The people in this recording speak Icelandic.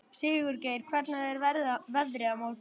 Sigurgeir, hvernig er veðrið á morgun?